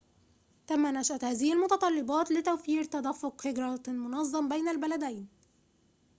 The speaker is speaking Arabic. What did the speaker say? تم نشأة هذه المتطلبات لتوفير تدفق هجرةٍ مُنظمٍ بين البلدين